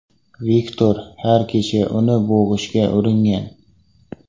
Viktor har kecha uni bo‘g‘ishga uringan.